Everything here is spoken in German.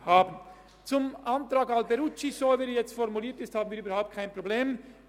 Mit dem Antrag Alberucci, so wie er jetzt formuliert ist, haben wir überhaupt kein Problem.